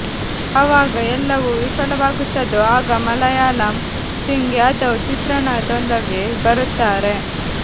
ಯಾವಾಗ ಎಲ್ಲವೂ ವಿಫಲವಾಗುತ್ತದೋ ಆಗ ಮುಲಾಯಂ ಸಿಂಗ್ ಯಾದವ್ ಚಿತ್ರಣದೊಳಗೆ ಬರುತ್ತಾರೆ